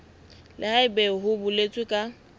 le haebe ho boletswe ka